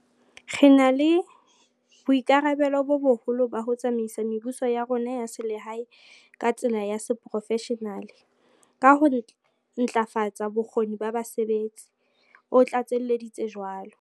"Re na le boikarabello bo boholo ba ho tsamaisa mebuso ya rona ya selehae ka tsela ya seporofeshenale ka ho ntlafatsa bokgoni ba basebetsi," o tlatselleditse jwalo.